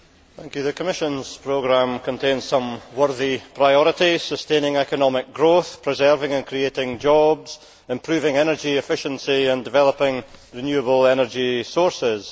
Mr President, the Commission's programme contains some worthy priorities sustaining economic growth, preserving and creating jobs, improving energy efficiency and developing renewable energy sources.